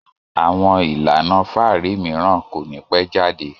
Àwọn ìlànà fáàrí mìíràn kò ní pẹ́ jáde